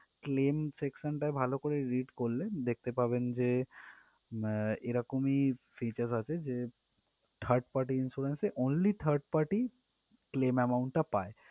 Claim section টা ভালো করে read করলে দেখতে পাবেন যে আহ এরকমই features আছে যে third party insurance এ only third party claim amount টা পায়।